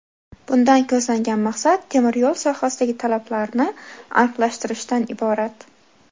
Bundan ko‘zlangan maqsad temir yo‘l sohasidagi talablarni aniqlashtirishdan iborat.